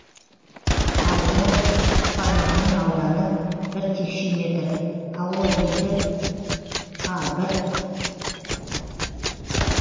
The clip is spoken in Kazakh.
а форматының ауданы бір текше метр а екі а бір